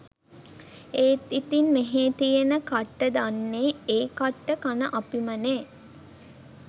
ඒත් ඉතින් මෙහෙ තියෙන කට්ට දන්නේ ඒ කට්ට කන අපිමනේ.